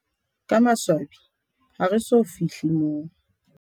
Ka maswabi, ha re so fi hle moo.